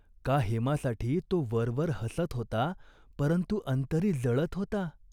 का हेमासाठी तो वरवर हसत होता, परंतु अंतरी जळत होता ?